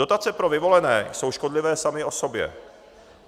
Dotace pro vyvolené jsou škodlivé samy o sobě.